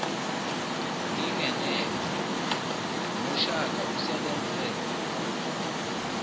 ngingeneme ngoshaka usebenze